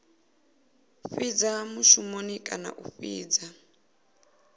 fhidza mushumoni kana a fhidza